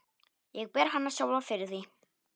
Ég ber hana sjálfa fyrir því.